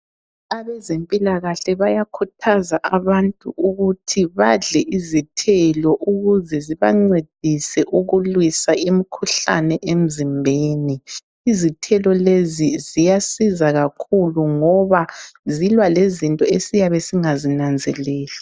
Abezempilakahle bayakhuthaza abantu ukuthi badle izithelo ukuze zibancedise ukulwisa imkhuhlane emzimbeni, izithelo lezo ziyasiza kakhulu ngoba zilwa lezinto esiyabe singazinanzeleli.